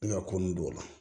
Ne ka ko nun don o la